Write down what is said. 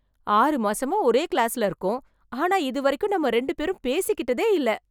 ஆறு மாசமா ஒரே கிளாஸ்ல இருக்கோம் ஆனா இதுவரைக்கும் நம்ம ரெண்டு பேரும் பேசிக்கிட்டதேயில்ல